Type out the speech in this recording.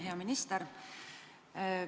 Hea minister!